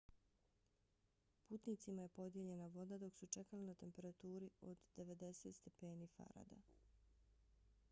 putnicima je podijeljena voda dok su čekali na temperaturi od 90 stepeni f